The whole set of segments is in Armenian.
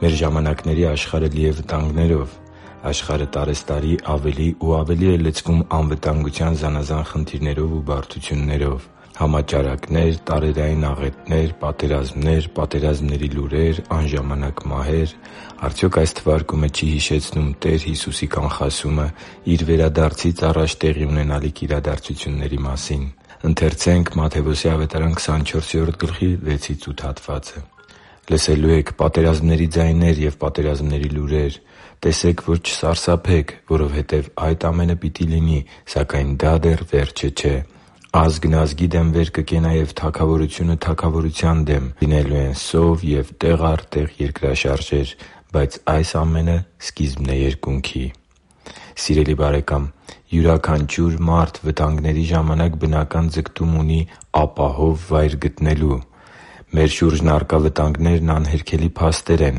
Մեր ժամանակների աշխարհը լի է վտանգներով։ Աշխարհը տարեցտարի ավելի ու ավելի է լցվում անվտանգության զանազան խնդիրներով ու բարդություններով։ Համաճարակներ, տարերային աղետներ, պատերազմներ և պատերազմների լուրեր, անժամանակ մահեր․․․ Արդյոք այս թվարկումը չի՞ հիշեցնում Տեր Հիսուսի կանխասումը Իր վերադարձից առաջ տեղի ունենալիք իրադարձությունների մասին։ «Լսելու եք պատերազմների ձայներ ու պատերազմների լուրեր։ Տեսե՛ք, որ չսարսափեք, որովհետև այդ ամենը պետք է լինի, սակայն դա դեռ վերջը չէ։ Ազգն ազգի դեմ վեր կկենա, և թագավորությունը՝ թագավորության դեմ. լինելու են սով և տեղ առ տեղ երկրաշարժեր։ Բայց այս ամենը սկիզբն է երկունքի» (Մատթեոս 24.6-8): Սիրելի՛ բարեկամ, յուրաքանչյուր մարդ վտանգների ժամանակ բնական ձգտում ունի ապահով վայր գտնելու։ Մեր շուրջն առկա վտանգներն անհերքելի փաստեր են։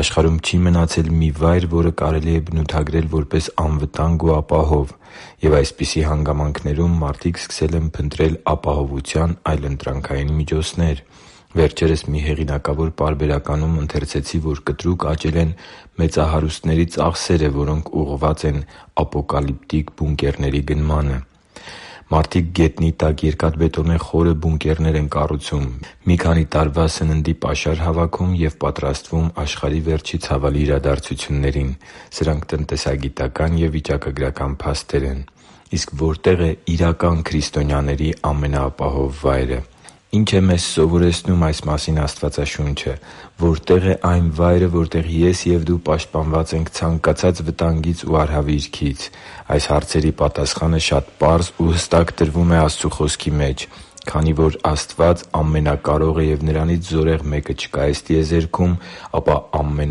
Աշխարհում չի մնացել մի վայր, որը կարելի է բնութագրել որպես անվտանգ ու ապահով։ Եվ այսպիսի հանգամանքներում մարդիկ սկսել են փնտրել ապահովության այլընտրանքային միջոցներ։ Վերջերս մի հեղինակավոր պարբերականում ընթերցեցի, որ կտրուկ աճել են մեծահարուստների ծախսերը, որոնք ուղղված են ապոկալիպտիկ բունկերների գնմանը։ Մարդիկ գետնի տակ երկաթբետոնե խորը բունկերներ են կառուցում, մի քանի տարվա պաշար հավաքում և պատրաստվում աշխարհի վերջի ցավալի իրադարձություններին։ Սրանք տնտեսագիտական ու վիճակագրական փաստեր են։ Իսկ որտե՞ղ է իրական քրիստոնյաների ամենաապահով վայրը։ Ի՞նչ է մեզ սովորեցնում այս մասին Աստվածաշունչը։ Որտե՞ղ է այն վայրը, որտեղ ես և դու պաշտպանված ենք ցանկացած վտանգից ու արհավիրքից։ Այս հարցերի պատասխանը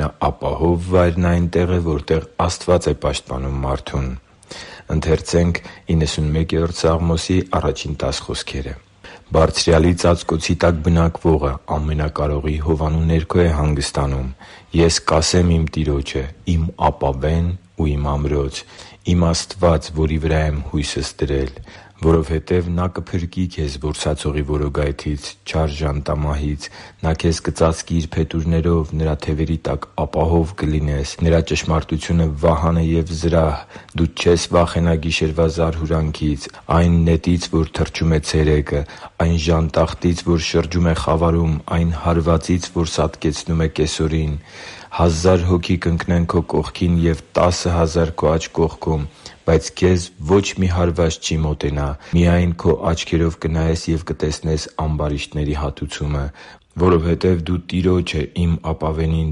շատ պարզ ու հստակ տրվում է Աստծու Խոսքի մեջ։ Քանի որ Աստված ամենակարող է և Նրանից զորեղ մեկը չկա այս տիեզերքում, ապա ամենաապահով վայրն այնտեղ է, որտեղ Աստված է պաշտպանում մարդուն։ «Բարձրյալի ծածկոցի տակ բնակվողը Ամենակարողի հովանու ներքո է հանգստանում։ Ես Տիրոջը կասեմ. «Իմ ապավե՛ն և իմ ամրո՛ց, իմ Աստվա՛ծ, որի վրա եմ հույսս դրել»։ Որովհետև Նա կփրկի քեզ որսացողի որոգայթից, չար ժանտամահից։ Նա քեզ կծածկի Իր փետուրներով, Նրա թևերի տակ ապահով կլինես. Նրա ճշմարտությունը վահան է և զրահ։ Դու չես վախենա գիշերվա զարհուրանքից, այն նետից, որ թռչում է ցերեկը, այն ժանտախտից, որ շրջում է խավարում, այն հարվածից, որ սատկեցնում է կեսօրին։ Հազար հոգի կընկնեն քո կողքին, և տասը հազարը՝ քո աջ կողմում, բայց քեզ ոչ մի հարված չի մոտենա։ Միայն քո աչքերով կնայես և կտեսնես ամբարիշտների հատուցումը։ Որովհետև դու Տիրոջը՝ իմ ապավենին,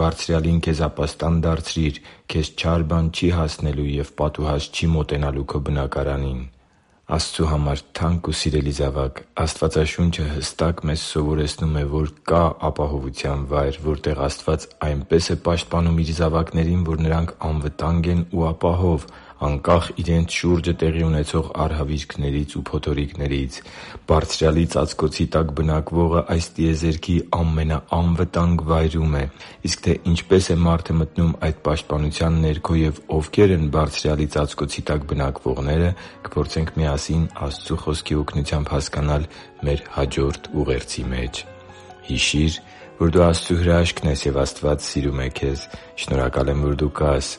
Բարձրյալին, քեզ ապաստան դարձրիր։ Քեզ չար բան չի հասնելու, և պատուհաս չի մոտենալու քո բնակարանին» (Սաղմոս 91.1-10): Աստծու համար թանկ ու սիրելի՛ զավակ, Աստվածաշունչը հստակ մեզ սովորեցնում է, որ կա՛ ապահովության վայր, որտեղ Աստված այնպե՜ս է պաշտպանում Իր զավակներին, որ նրանք անվտանգ են ու ապահով՝ անկախ իրենց շուրջը տեղի ունեցող արհավիրքներից ու փոթորիկներից։ Բարձրյալի ծածկոցի տակ բնակվողը այս տիեզերքի ամենաանվտանգ վայրում է։ Իսկ թե ինչպե՛ս է մարդը մտնում այդ պաշտպանության ներքո և ովքե՛ր են Բարձրյալի ծածկոցի տակ բնակվողները, կփորձենք միասին Աստծու Խոսքի օգնությամբ հասկանալ մեր հաջորդ ուղերձի մեջ։ Հիշի՛ր, որ դու Աստծո հրաշքն ես, և Աստված սիրում է քեզ։ Շնորհակալ եմ, որ դու կա՛ս